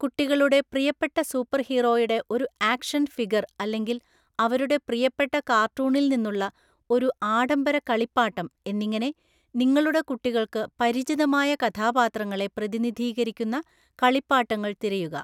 കുട്ടികളുടെ പ്രിയപ്പെട്ട സൂപ്പർഹീറോയുടെ ഒരു ആക്ഷൻ ഫിഗർ അല്ലെങ്കിൽ അവരുടെ പ്രിയപ്പെട്ട കാർട്ടൂണിൽ നിന്നുള്ള ഒരു ആഡംബര കളിപ്പാട്ടം എന്നിങ്ങനെ നിങ്ങളുടെ കുട്ടികൾക്ക് പരിചിതമായ കഥാപാത്രങ്ങളെ പ്രതിനിധീകരിക്കുന്ന കളിപ്പാട്ടങ്ങൾ തിരയുക.